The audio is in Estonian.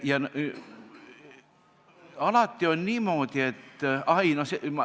Alati on niimoodi olnud.